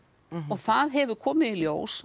og það hefur komið í ljós